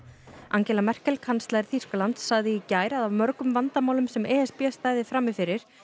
Angela Merkel kanslari Þýskalands sagði í gær að af mörgum vandamálum sem e s b stæði frammi fyrir